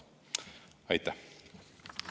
Aitäh!